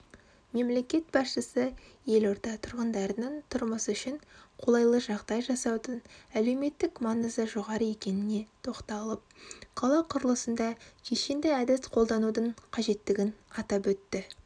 мемлекет басшысы елорда тұрғындарының тұрмысы үшін қолайлыжағдай жасаудың әлеуметтік маңызы жоғары екеніне тоқталып қала құрылысында кешенді әдіс қолданудың қажеттігін атап өтті